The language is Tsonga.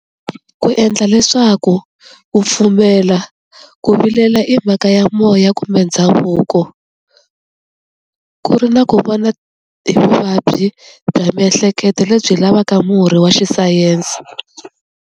Ku endla leswaku ku pfumela ku vilela i mhaka ya moya kumbe ndhavuko ku ri na ku vona hi vuvabyi bya miehleketo lebyi lavaka murhi wa xisayense.